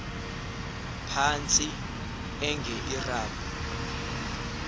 phantsi enge lrabi